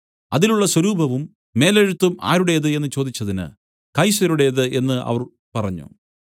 അതിലുള്ള സ്വരൂപവും മേലെഴുത്തും ആരുടേത് എന്നു ചോദിച്ചതിന് കൈസരുടേത് എന്നു അവർ പറഞ്ഞു